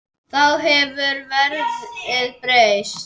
Þá hefur verðið breyst.